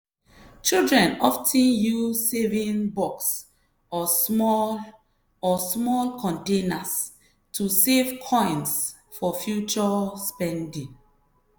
children of ten use saving box or small or small containers to save coins for future spending.